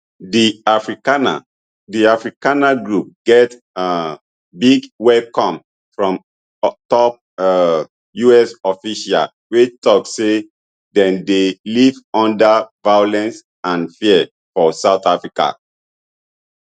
di afrikaner di afrikaner group get um big welcome from top um us officials wey tok say dem dey live under violence and fear for south africa